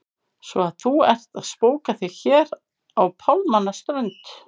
Svo að þú ert að spóka þig hér á pálmanna strönd!